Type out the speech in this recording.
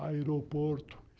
Aeroporto.